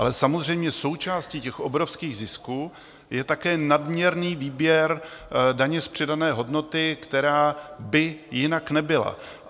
Ale samozřejmě součástí těch obrovských zisků je také nadměrný výběr daně z přidané hodnoty, která by jinak nebyla.